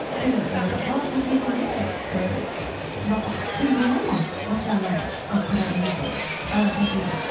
енді і бала тәрбиесінде і жалпы қиын болмайды ма осы жағынан алып қараған кезде бала тәрбиелеу